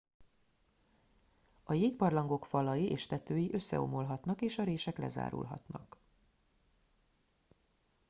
a jégbarlangok falai és tetői összeomolhatnak és a rések lezárulhatnak